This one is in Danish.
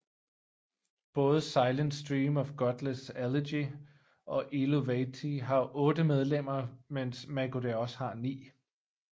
Både Silent Stream of Godless Elegy og Eluveitie har otte medlemmer mens Mägo de Oz har ni